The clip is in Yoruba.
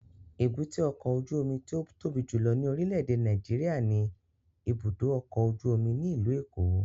Èbúté ọkọ ojú omi ti o tobi julọ ni orilẹ-ede Nàìjíríà ni ibudo ọkọ oju omi ni ilu Eko